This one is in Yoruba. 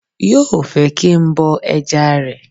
Yóò fẹ́ kí n bọ ẹja rẹ̀